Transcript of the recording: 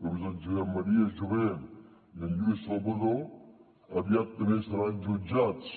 com són en josep maria jové i en lluís salvadó aviat també seran jutjats